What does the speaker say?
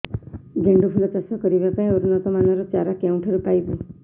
ଗେଣ୍ଡୁ ଫୁଲ ଚାଷ କରିବା ପାଇଁ ଉନ୍ନତ ମାନର ଚାରା କେଉଁଠାରୁ ପାଇବୁ